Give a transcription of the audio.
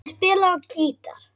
Hann spilaði á gítar.